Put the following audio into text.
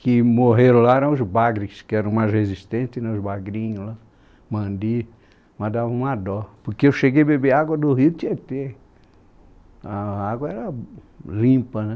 que morreram lá eram os bagres, que eram mais resistentes, os bagrinhos lá, mandi, mas dava uma dó, porque eu cheguei a beber água do rio Tietê, a água era limpa, né?